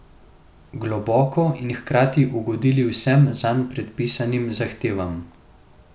Globoko in hkrati ugodili vsem zanj predpisanim zahtevam.